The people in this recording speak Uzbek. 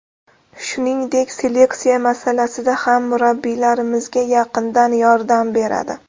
Shuningdek, seleksiya masalasida ham murabbiylarimizga yaqindan yordam beradi.